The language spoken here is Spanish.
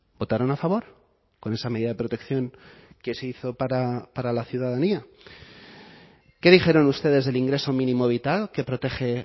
votaron a favor con esa medida de protección que se hizo para la ciudadanía qué dijeron ustedes del ingreso mínimo vital que protege